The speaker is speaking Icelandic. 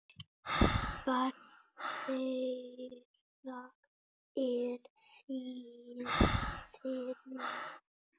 Barn þeirra er Þyrí.